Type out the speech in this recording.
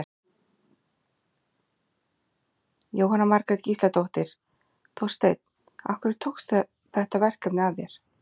Jóhanna Margrét Gísladóttir: Þorsteinn, af hverju tókstu þetta verkefni að þér?